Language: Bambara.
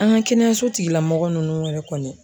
An ka kɛnɛyaso tigila mɔgɔ nunnu yɛrɛ kɔni.